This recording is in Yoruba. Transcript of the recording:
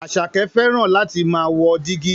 Àṣàkẹ́ fẹ́ràn láti máà wo dígí.